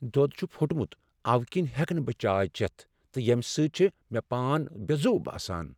دود چھ پھوٚٹمت اوٕ کِنۍ ہیٚکہٕ نہٕ بہٕ چاے چیتھ تہٕ ییٚمہ سۭتۍ چھ مےٚ پان بےٚ زُو باسان۔